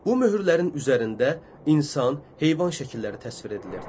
Bu möhürlərin üzərində insan, heyvan şəkilləri təsvir edilirdi.